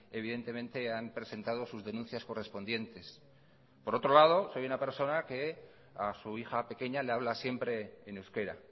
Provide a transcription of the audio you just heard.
evidentemente han presentado sus denuncias correspondientes por otro lado soy una persona que a su hija pequeña le habla siempre en euskera